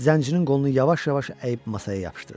Zəncirin qolunu yavaş-yavaş əyib masaya yapışdırdı.